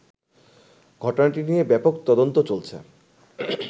ঘটনাটি নিয়ে ব্যাপক তদন্ত চলছে